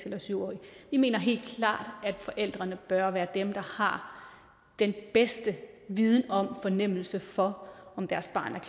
eller syv årig vi mener helt klart at forældrene bør være dem der har den bedste viden om og fornemmelse for om deres barn er